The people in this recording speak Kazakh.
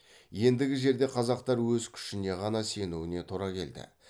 ендігі жерде қазақтар өз күшіне ғана сенуіне тура келді